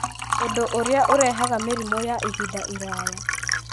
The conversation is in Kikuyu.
ũndũ ũrĩa ũrehaga mĩrimũ ya ihinda iraya.